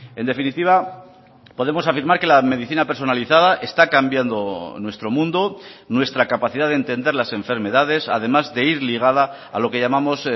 en definitiva podemos afirmar que la medicina personalizada está cambiando nuestro mundo nuestra capacidad de entender las enfermedades además de ir ligada a lo que llamamos